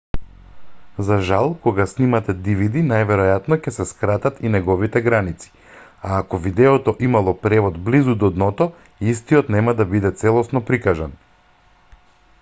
за жал кога сниматe dvd најверојатно ќе се скратат и неговите граници а ако видеото имало превод близу до дното истиот нема да биде целосно прикажан